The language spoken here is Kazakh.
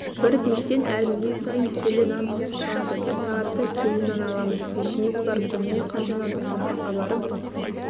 бір пештен әр минут сайын келі нан пісіп шығады бір сағатта келі нан аламыз пешіміз бар күніне қанша нан дастарханға барып